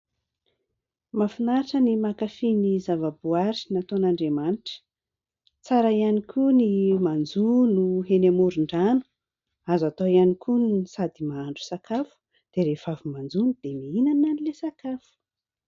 Mahafinaritra ny mankafý ny zava-boahary nataon'Andriamanitra, tsara ihany koa ny manjono eny amoron-drano, azo atao ihany koa ny sady mahandro sakafo dia rehefa avy manjono dia mihinana ilay sakafo.